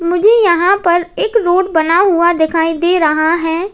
मुझे यहां पर एक रोड बना हुआ दिखाई दे रहा हैं।